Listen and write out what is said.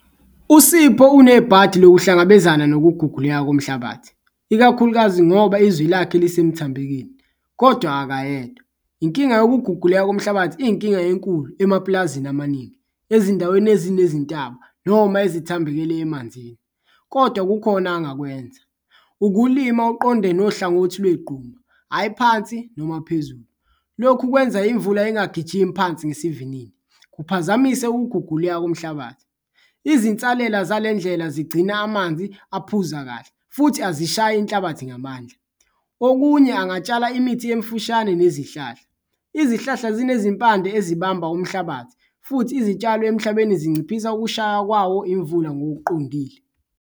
USipho unebhadi lokuhlangabezana nokuguguleka komhlabathi ikakhulukazi ngoba izwi lakhe lisemthambekeni kodwa akayedwa, inkinga yokuguqulela komhlabathi iyinkinga enkulu emapulazini amaningi, ezindaweni ezinezintaba noma ezithambekele emanzini. Kodwa kukhona angakwenza, ukulima uqonde nohlangothi lwegquma, hhayi phansi noma phezulu, lokhu kwenza imvula ingagijimi phansi ngesivinini, kuphazamise ukuguguleka komhlabathi. Izinsalela zale ndlela zigcina amanzi aphuza kahle futhi azishayi inhlabathi ngamandla, okunye angatshala imithi emfushane nezihlahla, izihlahla zinezimpande ezibamba umhlabathi futhi izitshalo emhlabeni zinciphisa ukushaya kwawo imvula ngokuqondile.